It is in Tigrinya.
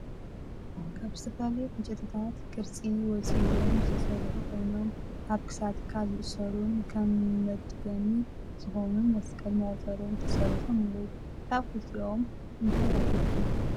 ካብ ዝተፈላለዩ ዕንጨይትታት ቅርፂ ወፅይዎም ዝተሰርሑ ኮይኖም ኣብ ክሳድካ ዝእሰሩን ነመድገሚ ዝኮኑን መስቀልን መቁፀርን ተሰሪሖም ኣለው። ካብ ክልቲኦም እንታይ ኣለኩም ?